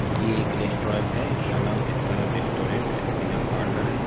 ये एक रेस्टोरंट है| इसका नाम एस आर रेस्टोरेंट है एंड पिज़्ज़ा पार्लर है।